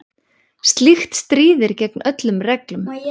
Slíkt stríðir gegn öllum reglum.